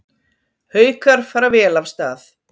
Haukar fara vel af stað